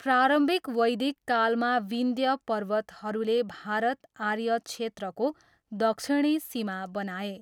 प्रारम्भिक वैदिक कालमा, विन्ध्य पर्वतहरूले भारत आर्य क्षेत्रको दक्षिणी सीमा बनाए।